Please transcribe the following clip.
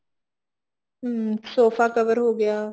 ਹਮ sofa cover ਹੋਗਿਆ